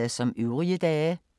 Samme programflade som øvrige dage